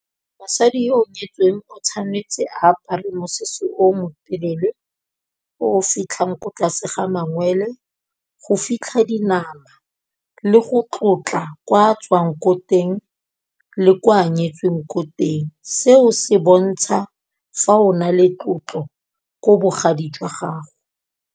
Mosadi yo o nyetsweng o tshwanetse a apare mosese o mo telele o fitlhang ko tlase ga mangwele, go fitlha dinama le go tlotla kwa tswang ko teng le ko a nyetsweng ko teng, seo se bontsha fa ona le tlotlo ko bogadi jwa gago.